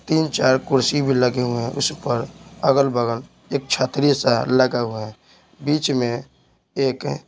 तीन-चार कुर्सी भी लगे हुए हैं उस पर अगल-बगल एक छात्रीय सा लगा हुआ है बीच में एक--